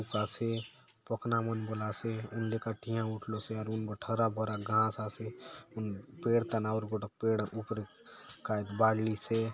आसे पखना मन बले आसे हुन लेका ठिया उठलोसे अउर हुन बाटे हरा-भरा घास आसे हुन पेड़ थाने आउर गोटोक पेड़ ऊपरे कायतो बाढ़लीसे।